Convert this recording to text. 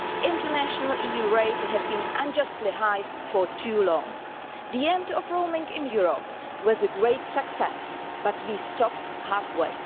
International EU rates have been unjustly high for too long. The end of roaming in Europe was a great success, but we stopped half way.